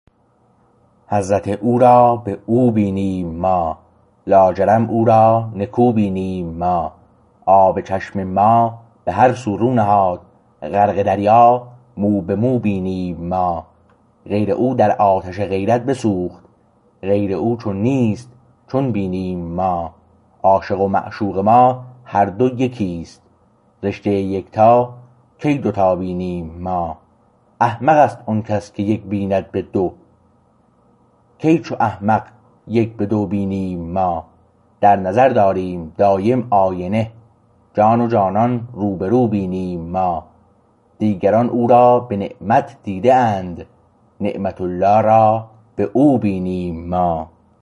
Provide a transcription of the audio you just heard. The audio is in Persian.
حضرت او را به او بینیم ما لاجرم او را نکو بینیم ما آب چشم ما به هر سو رو نهاد غرق دریا مو به مو بینیم ما غیر او در آتش غیرت بسوخت غیر او چون نیست چون بینیم ما عاشق و معشوق ما هر دو یکیست رشته یک تا کی دو تا بینیم ما احمق است آن کس که یک بیند به دو کی چو احمق یک به دو بینیم ما در نظر داریم دایم آینه جان و جانان روبرو بینیم ما دیگران او را به نعمت دیده اند نعمت الله را به او بینیم ما